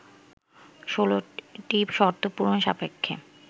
১৬টি শর্ত পূরণ সাপেক্ষে